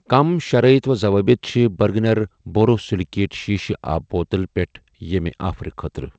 کٔمۍ شرائط و ضوابط چھِ بٔرگنر بوروسِلِکیٹ شیٖشہٕ آبہٕ بوتل پٮ۪ٹھ ییٚمہِ آفر خٲطرٕ؟